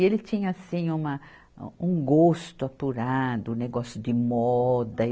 E ele tinha, assim, uma, um gosto apurado, um negócio de moda.